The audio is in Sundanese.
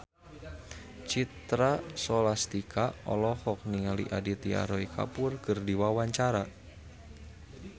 Citra Scholastika olohok ningali Aditya Roy Kapoor keur diwawancara